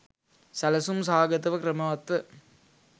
සැලසුම් සහගතව ක්‍රමවත්ව